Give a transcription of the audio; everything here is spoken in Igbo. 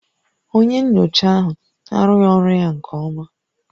Onye nyocha ahụ arụghị ọrụ ya nke ọma